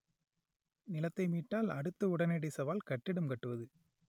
நிலத்தை மீட்டால் அடுத்த உடனடி சவால் கட்டிடம் கட்டுவது